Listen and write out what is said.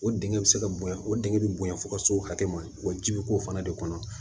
O dingɛ bɛ se ka bonya o denkɛ bɛ bonya fo ka s'o hakɛ ma wa ji bɛ k'o fana de kɔnɔ